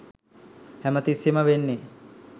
හැමතිස්සේම වෙන්නේ